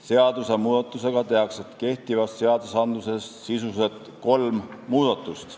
Seadusmuudatusega tehakse kehtivates seadustes sisuliselt kolm muudatust.